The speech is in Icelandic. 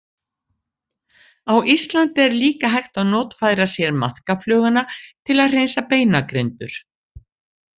Á Íslandi er líka hægt að notfæra sér maðkafluguna til að hreinsa beinagrindur.